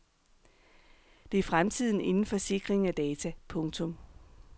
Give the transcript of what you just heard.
Det er fremtiden inden for sikring af data. punktum